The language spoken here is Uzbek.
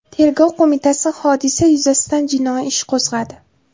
Tergov qo‘mitasi hodisa yuzasidan jinoiy ish qo‘zg‘adi.